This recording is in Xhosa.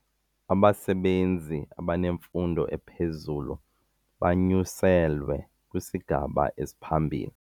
Abasebenzi abanemfundo ephezulu banyuselwe kwisigaba esiphambili.